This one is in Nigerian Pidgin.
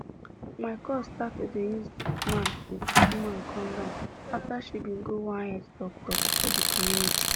my cuz start to start to dey use man with woman kondom afta bin she go one health talk talk for di community